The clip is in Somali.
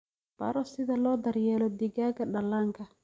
Baro sida loo daryeelo digaagga dhallaanka.